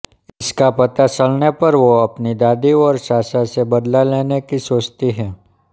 इसका पता चलने पर वो अपनी दादी और चाचा से बदला लेने की सोचती है